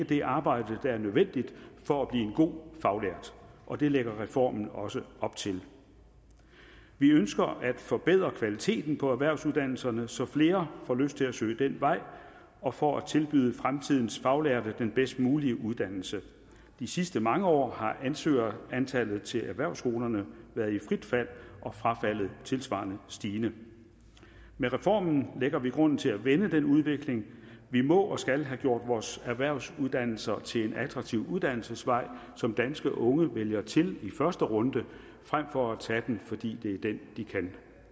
det arbejde der er nødvendigt for at blive en god faglært og det lægger reformen også op til vi ønsker at forbedre kvaliteten på erhvervsuddannelserne så flere får lyst til at søge den vej og for at tilbyde fremtidens faglærte den bedst mulige uddannelse de sidste mange år har ansøgerantallet til erhvervsskolerne været i frit fald og frafaldet tilsvarende stigende med reformen lægger vi grunden til at vende den udvikling vi må og skal have gjort vores erhvervsuddannelser til en attraktiv uddannelsesvej som danske unge vælger til i første runde frem for at de tager den fordi det er den de kan